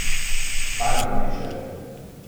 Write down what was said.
Kaj naj napiše?